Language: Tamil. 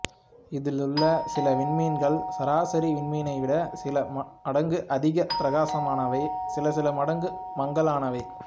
இதிலுள்ள சில விண்மீன்கள் சராசரி விண்மீனை விடச் சில மடங்கு அதிகப் பிரகாசமானவை சில சில மடங்கு மங்கலானவை